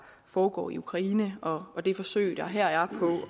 foregår i ukraine og og det forsøg der her er